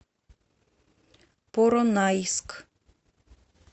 поронайск